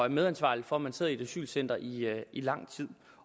i medansvarlig for at man sidder i et asylcenter i i lang tid